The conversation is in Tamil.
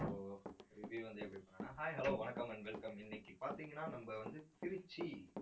so review வந்து, எப்படி பண்ணணும்னா hi hello வணக்கம் and welcome இன்னைக்கு பார்த்தீங்கன்னா நம்ம வந்து திருச்சி